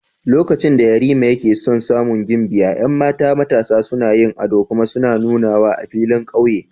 Lokacin da Yarima yake son samun gimbiya, 'yan mata matasa suna yin ado kuma suna nunawa a filin kauye.